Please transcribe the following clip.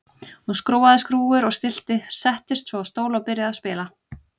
Hún skrúfaði skrúfur og stillti, settist svo á stól og byrjaði að spila.